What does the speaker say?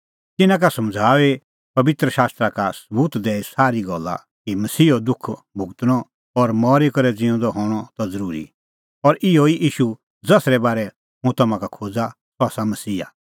तिन्नां का समझ़ाऊई पबित्र शास्त्रा का सबूत दैई सारी गल्ला कि मसीहो दुख भुगतणअ और मरी करै ज़िऊंदै हणअ त ज़रूरी और अहैई ईशू ज़सरै बारै हुंह तम्हां का खोज़ा अह आसा मसीहा